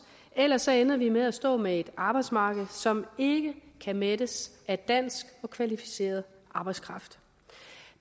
ellers ender vi med at stå med et arbejdsmarked som ikke kan mættes af dansk og kvalificeret arbejdskraft